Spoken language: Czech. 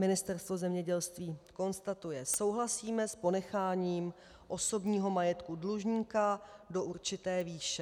Ministerstvo zemědělství konstatuje: Souhlasíme s ponecháním osobního majetku dlužníka do určité výše.